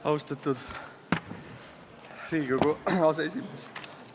Austatud Riigikogu aseesimees!